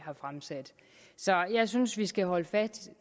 har fremsat så jeg synes vi skal holde fast